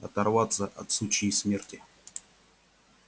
оторваться от сучьей смерти